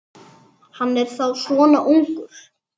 Hann er þá svona ungur.